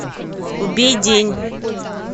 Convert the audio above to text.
убей день